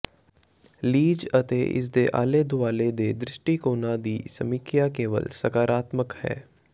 ਲੀਜ ਅਤੇ ਇਸ ਦੇ ਆਲੇ ਦੁਆਲੇ ਦੇ ਦ੍ਰਿਸ਼ਟੀਕੋਣਾਂ ਦੀ ਸਮੀਖਿਆ ਕੇਵਲ ਸਕਾਰਾਤਮਕ ਹੈ